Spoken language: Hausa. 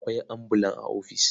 Akwai ambulan a ofis.